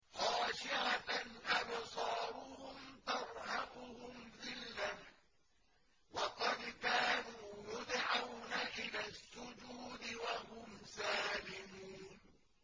خَاشِعَةً أَبْصَارُهُمْ تَرْهَقُهُمْ ذِلَّةٌ ۖ وَقَدْ كَانُوا يُدْعَوْنَ إِلَى السُّجُودِ وَهُمْ سَالِمُونَ